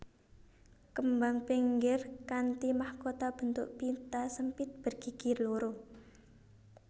Kembang pinggir kanthi mahkota bentuk pita sempit bergigi loro